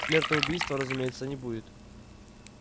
смертоубийства разумеется не будет